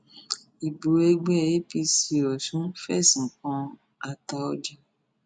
ibo ẹgbẹ apc ọsún fẹsùn kan àtaójà